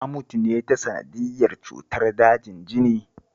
Ta mutu ne ta sanadiyyar cutar dajin jini